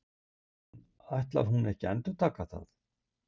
En ætlar hún ekki að endurtaka það?